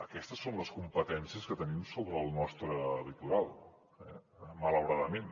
aquestes són les competències que tenim sobre el nostre litoral malauradament